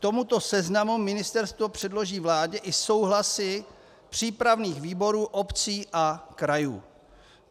K tomuto seznamu ministerstvo předloží vládě i souhlasy přípravných výborů obcí a krajů.